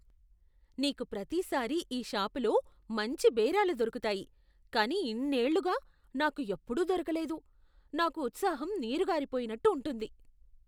నీకు ప్రతిసారి ఈ షాపులో మంచి బేరాలు దొరుకుతాయి కానీ ఇన్నేళ్లుగా నాకు ఎప్పుడూ దొరకలేదు. నాకు ఉత్సాహం నీరుకారిపోయినట్టు ఉంటుంది.